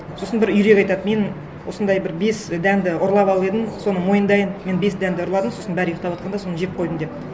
сосын бір үйрек айтады мен осындай бір бес дәнді ұрлап алып едім соны мойындайын мен бес дәнді ұрладым сосын бәрі ұйықтаватқанда соны жеп қойдым деп